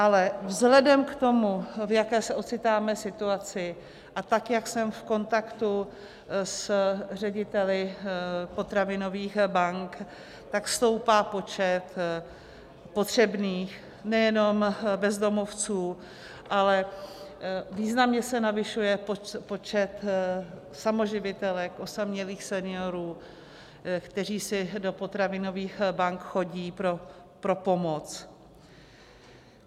Ale vzhledem k tomu, v jaké se ocitáme situaci, a tak jak jsem v kontaktu s řediteli potravinových bank, tak stoupá počet potřebných nejenom bezdomovců, ale významně se navyšuje počet samoživitelek, osamělých seniorů, kteří si do potravinových bank chodí pro pomoc.